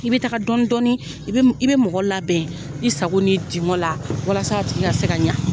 I bɛ taga dɔɔni dɔɔni i bɛ bɛ mɔgɔ labɛn i sago n'i dingɔn la walasa a tigi ka se ka ɲɛ.